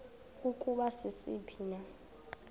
ukuba sisiphi na